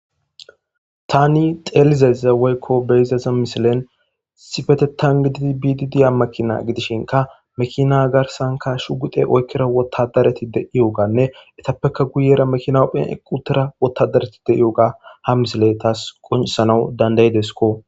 Taani xeellizayssa woykko be7izayssa misilen issipetheththan gididi biiddi diya makiinaa gidishinkka mekiinaa garssankka shugguxe oykkida woththaadarathi de7iyoogaanne ethappekka guyera mekiina eqquthira woththaadarathi de7iyoogaa ha misilee thaas qonccissanawu dandda7ideskko.